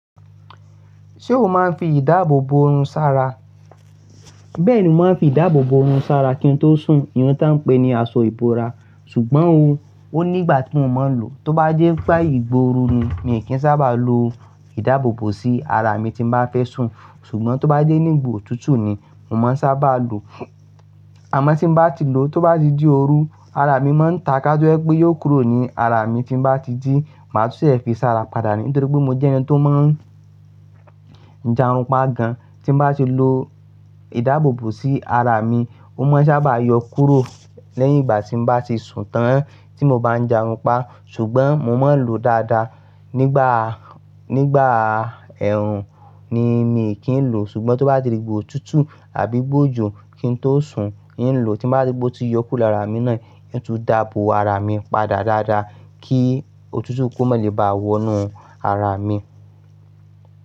Ṣé o máa ń fi ìdáàbò bo irun sára? Bẹ́ẹ̀ni mo máa ń fi ìdáàbò bo orun sára kí n tó sùn, ìyẹn táa ń pè ní aṣọ ìbora. Ṣùgbọ́n o, ó nígbà tí mo máa ń lò ó, tó bá jẹ́ pé àyè ìgbà óòru ni, mi kì í sábà lo ìdáàbò bò sí ara mi tí mo bá fẹ́ sùn, ṣùgbọ́n tó bá jẹ́ nígbà òtútù ni, mo máa ń sábà lò ó. Àmọ́ tí mo bá ti lò ó, tó bá ti di ooru, ara mi máa ń ta ká tó ẹ pé yóò kúrò ní ara mi tí ń bá ti jí, màá tún ṣe é fi sára padà nítorí pé mo jẹ́ ẹni tó máa ń jàrunpa gan. Tí mo bá ti lo ìdáàbò bò sí ara mi, ó máa ń sábà yọ kúrò lẹ́yìn ìgbà tí mo bá ti sùn tán tí mo bá ń jàrunpa. Ṣùgbọ́n mo máa ń lò ó dáadáa. Nígbà, nígbà ẹ̀rùn ni mí kí ń lò ó ṣùgbọ́n tó bá di òtútù àbí ìgbà òjò kí n tó sùn, ì ń lò ó tí bá ti gbó ti yọ kúrò lára mi náà, ì ń tún dáàbò ara mi padà dáadáa kí òtútù kó má lè bá wọnú ara mi.